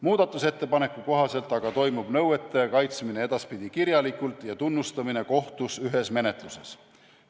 Muudatusettepaneku kohaselt aga toimub nõuete kaitsmine edaspidi kirjalikult ja tunnustamine kohtus ühes menetluses.